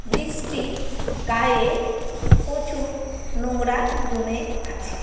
Bridge -টির গায়ে প্রচুর নোংরা জমে আছে।